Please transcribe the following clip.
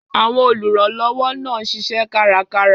Àwọn olùrànlọ́wọ́ náà ń ṣiṣẹ́ kárakára.